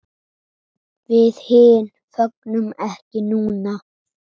Við hin fögnum ekki núna.